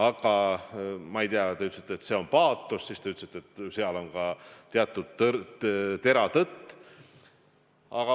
Aga te ütlesite, et see on paatos, ja siis te ütlesite, et seal on ka tera tõtt.